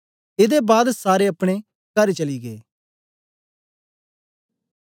एदे बाद सारे अपने कर चली गै